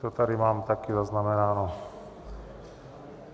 To tady mám taky zaznamenáno.